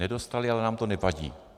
Nedostali, ale nám to nevadí.